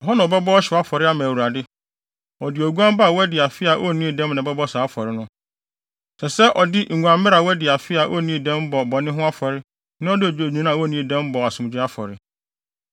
Ɛhɔ na ɔbɛbɔ ɔhyew afɔre ama Awurade. Ɔde oguan ba a wadi afe a onnii dɛm na ɛbɛbɔ saa afɔre no. Ɛsɛ sɛ ɔde oguammere a wadi afe a onnii dɛm bɔ bɔne ho afɔre na ɔde odwennini a onnii dɛm bɔ asomdwoe afɔre.